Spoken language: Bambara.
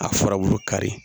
A furabulu kari